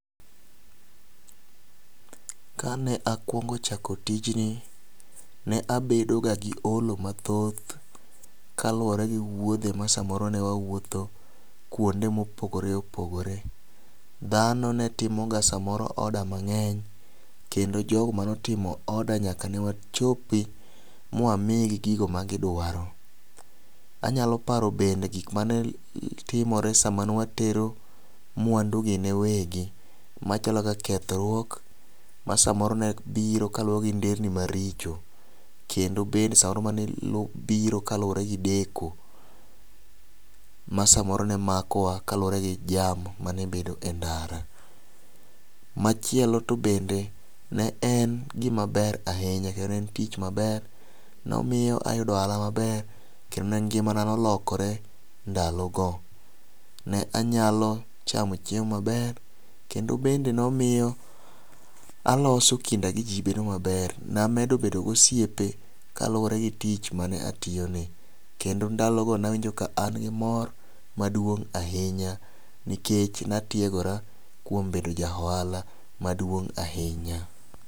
Kane akuongo chako tijni, ne abedo ga gi olo mathoth kaluwore gi wuodhe ma samoro ne wawuotho kuonde mopogore opogore . Dhano ne timo ga samoro order mang'eny kendo jogo manotimo order nyaka ne wachopi mwamigi gigo ma gidwaro .Anyalo paro bende gik mane timore sama nwa tero mwandu gi ne wegi machalo kaka kethruok ma samoro ne biro gi nderni maricho kendo bende samoro ma biro kaluwre gi deko, ma samoro ne makowa kaluwore gi jam manebedo e ndara. Machielo to bende ne en gimaber ahinya kendo ne en tich maber nomiyo ayudo ohala maber kendo ne ngimana nolokore ndalo go . Ne anyalo chamo chiemo maber kendo bende nomiyo aloso kinda gi jii bedo maber .Namedo bedo gosiepe kalure gi tich mane atiyo ni kendo ndalo go ne awinjo ka an gi mor maduong' ahinya nikech natiegora kuom bedo ja ohala maduong' ahinya.